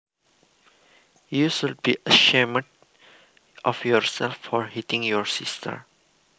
You should be ashamed of yourself for hitting your sister